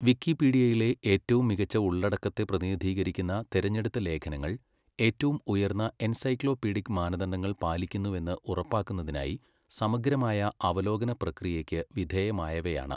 വിക്കിപീഡിയയിലെ ഏറ്റവും മികച്ച ഉള്ളടക്കത്തെ പ്രതിനിധീകരിക്കുന്ന തിരഞ്ഞെടുത്ത ലേഖനങ്ങൾ ഏറ്റവും ഉയർന്ന എൻസൈക്ലോപീഡിക് മാനദണ്ഡങ്ങൾ പാലിക്കുന്നുവെന്ന് ഉറപ്പാക്കുന്നതിനായി സമഗ്രമായ അവലോകന പ്രക്രിയയ്ക്ക് വിധേയമായവയാണ്